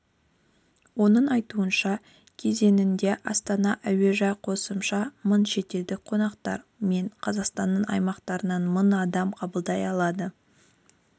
оның айтуынша кезеңінде астана әуежайы қосымша мың шетелдік қонақтар мен қазақстанның аймақтарынан мың адамды қабылдай алады